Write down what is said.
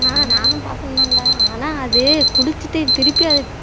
நானும் பார்த்ததான்டா ஆனா அது குடிச்சிட்டு திருப்பி அத